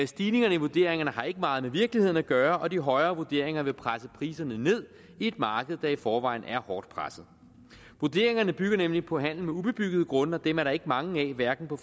stigningen i vurderingerne har ikke meget med virkeligheden at gøre og de højere vurderinger vil presse priserne ned et marked der i forvejen hårdt presset vurderingerne bygger nemlig på handel med ubebyggede grunde og dem er der ikke mange af hverken på